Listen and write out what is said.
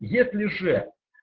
если же